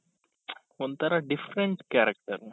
ಒಂಥರಾ different character